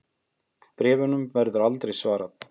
Bréfunum var aldrei svarað.